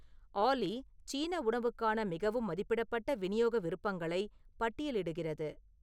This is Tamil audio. ஆல்லி சீன உணவுக்கான மிகவும் மதிப்பிடப்பட்ட விநியோக விருப்பங்களை பட்டியலிடுகிறது